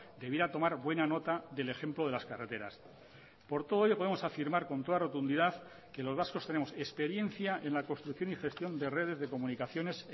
debiera tomar buena nota del ejemplo de las carreteras por todo ello podemos afirmar con toda rotundidad que los vascos tenemos experiencia en la construcción y gestión de redes de comunicaciones